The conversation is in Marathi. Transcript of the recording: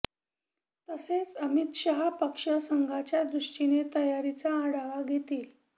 तसेच अमित शाह पक्ष संघटनाच्या दृष्टीने तयारीचा आढावा घेतील